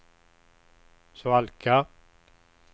svalka